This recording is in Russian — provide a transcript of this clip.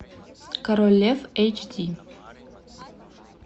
король лев эйч ди